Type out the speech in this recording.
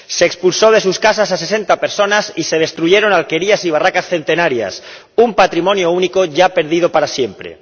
Se expulsó de sus casas a sesenta personas y se destruyeron alquerías y barracas centenarias, un patrimonio único ya perdido para siempre.